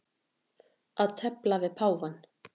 Að tefla við páfann